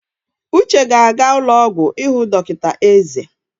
Uche ga-aga ụlọ ọgwụ ịhụ dọkịta eze.